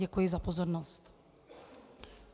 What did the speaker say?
Děkuji za pozornost.